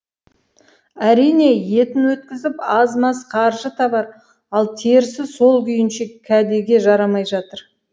әрине етін өткізіп аз маз қаржы табар ал терісі сол күйінше кәдеге жарамай жатыр